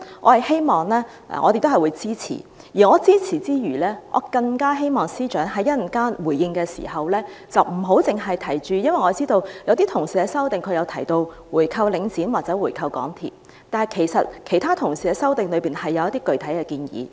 我會支持這些修正案，而支持之餘，更希望司長在稍後回應時，不要只提及......因為我知道有些同事的修正案提到回購領展或回購港鐵公司，但其實其他同事的修正案中亦有一些具體建議。